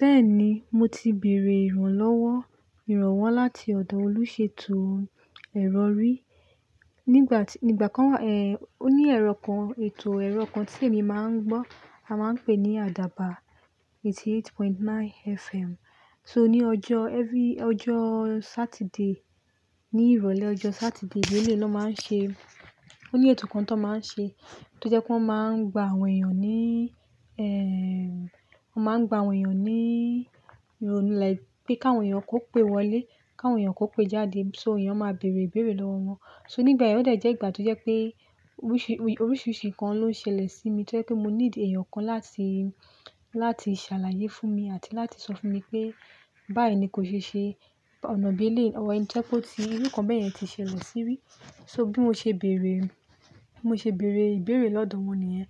Bẹ́ẹ̀ni, mo ti bèèrè ìrànlọ́wọ́ ìrọ̀wọ́ láti ọ̀dọ̀ olùṣètò ẹ̀rọ rí Ní ìgbà kan, o ní ẹ̀rọ kan, ètò ẹ̀rọ kan tí èmi máa ń gbọ́, a máa ń pè ní Àdàbà 88.9 FM. So ní ọjọ́ every-- ọjọ́ Saturday, ní ìrọ̀lẹ́ ọjọ́ Saturday, eleii náà máa ń ṣe, ó ní ètò kan tan máa ń ṣe tó jẹ́ pé wọ́n máa ń gba àwọn èèyàn níi, ẹ́ẹ́, wọ́n máa ń gba àwọn èèyàn ní ìrònú làì pẹ́ káwọn èèyàn kó pè wọlé, káwọn èèyàn kó pè jáde, so èèyàn máa bèèrè ìbèèrè lọ́wọ́ wọn. So nígbà yẹn ọ̀ dẹ̀ jẹ́ ìgbà tó jẹ́ pé oríṣiríṣi nǹkan ló ń ṣẹlẹ̀ sí mi tó jẹ́ pé mo need èèyàn kan láti, láti ṣàlàyé fún mi àti láti sọ fún mi pé báì ni kò ṣe ṣe ọ̀nà bí eléii, jẹ́ kó ti, irú n kan bẹ́ẹ̀ yẹn ti ṣẹlẹ̀ sí ri. So bí mo ṣe bèèrè, mo ṣe bèèrè ìbèèrè lọ́dọ̀ wọn nìyẹn.